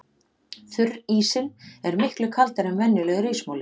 Þurrísinn er miklu kaldari en venjulegur ísmoli.